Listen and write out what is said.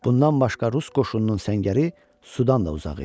Bundan başqa rus qoşununun səngəri sudan da uzaq idi.